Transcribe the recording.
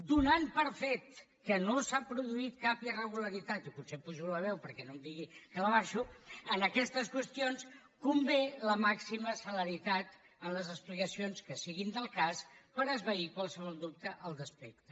donant per fet que no s’ha produït cap irregularitat i potser apujo la veu perquè no em digui que l’abaixo en aquestes qüestions convé la màxima celeritat en les explicacions que siguin del cas per esvair qualsevol dubte al respecte